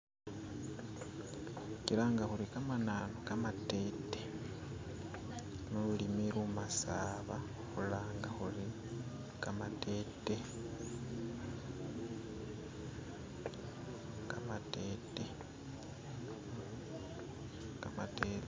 khukilanga khuri kamananu kamatete mululimi lumasaaba khulanga khuri kamatete, kamateete, kamateete.